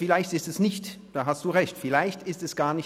Vielleicht ist es gar nicht die GPK, da haben Sie Recht.